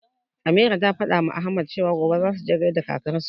Ameera ta fadawa Ahmad cewa, gobe zasu je gaishe da kakarsu.